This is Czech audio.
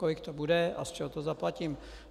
Kolik to bude a z čeho to zaplatím?